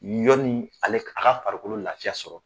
Yɔni ale a ka farikolo laafiya sɔrɔ.